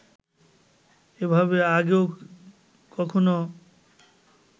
এভাবে আগে কখনও